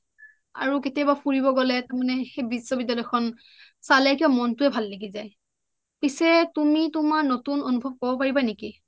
আৰু কেতিয়াবা ফুৰিব গলে তাৰ মানে সেই বিশ্ববিদ্যালয় খন চালে কিবা মনটো এ ভাল লাগি যায় পিছে তুমি তোমাৰ নতুন অনুভৱ কব পাৰিবা নেকি